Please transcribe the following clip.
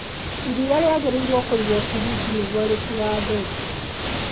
Iria rĩagĩrĩirwo kũigwo friji nĩguo rĩtigathũke